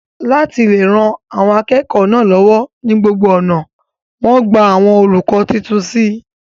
láti le ran àwọn akẹ́kọ̀ọ́ náà lọ́wọ́ ní gbogbo ọ̀nà, wọ́n gba àwọn olùkọ́ tuntun sí i